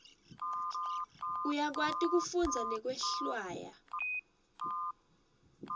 uyakwati kufundza nekwehlwaya